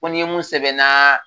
Fo ni mun sɛbɛnna